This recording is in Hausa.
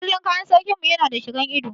A kullum kayan sarkin mu Yana da shigan ido.